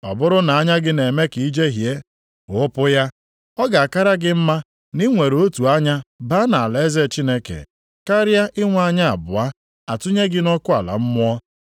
Ọ bụrụ na anya gị na-eme ka i jehie, ghụpụ ya. Ọ ga-akara gị mma na i nwere otu anya baa nʼalaeze Chineke, karịa inwe anya abụọ a tụnye gị nʼọkụ ala mmụọ,